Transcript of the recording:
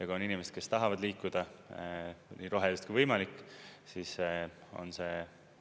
Ja kui on inimesed, kes tahavad liikuda nii roheliselt kui võimalik, siis on see